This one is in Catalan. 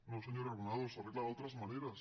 no senyora granados s’arregla d’altres maneres